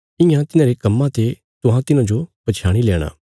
इयां तिन्हांरे कम्मां ते तुहां तिन्हांजो पछयाणी लेणा